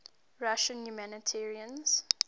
russian humanitarians